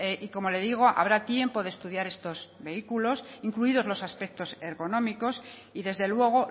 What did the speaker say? y como le digo habrá tiempo de estudiar estos vehículos incluidos los aspectos ergonómicos y desde luego